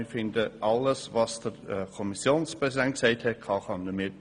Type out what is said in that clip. Wir können alles unterstützen, was der Kommissionspräsident gesagt hat.